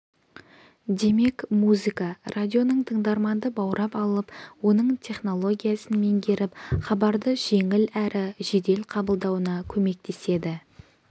демек музыка радионың тыңдарманды баурап алып оның психологиясын меңгеріп хабарды жеңіл әрі жедел қабылдауына көмектеседі